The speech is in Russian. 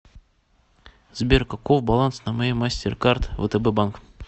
сбер каков баланс на моей мастеркард втб банк